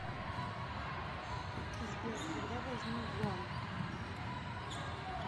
сбер когда возник гуам